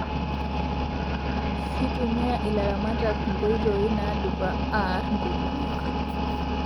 Kitumia ilaramatak nkotoii nadupa aar nkukunik